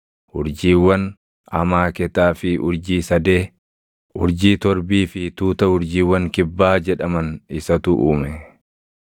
Urjiiwwan Amaaketaa fi urjii sadee, Urjii torbii fi tuuta ‘Urjiiwwan Kibbaa’ jedhaman isatu uume.